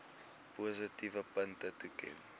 positiewe punte toeken